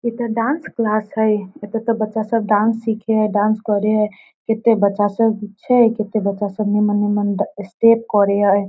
इ ते dance class हेय एते ते बच्चा सब डांस सीखे हेय डांस करे हेय कते बच्चा सब छै कते बच्चा सब मने-मने स्टेप करे हेय ।